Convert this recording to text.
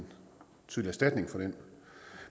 erstatning for den